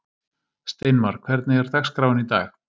Steinmar, hvernig er dagskráin í dag?